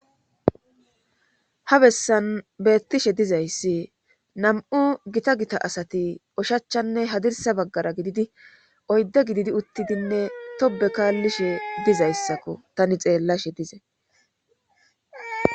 ha bessan beettishe dizayssi nam7u gita gita asati oshachchanne hadirsa baggara gididi oydde gididi uttidinne tobe kaallishe dizayssakko tani xeellashe dizay